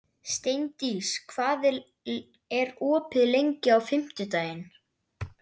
Steindís, hvað er opið lengi á fimmtudaginn?